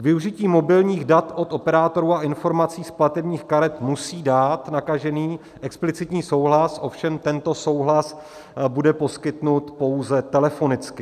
K využití mobilních dat od operátorů a informací z platebních karet musí dát nakažený explicitní souhlas, ovšem tento souhlas bude poskytnut pouze telefonicky.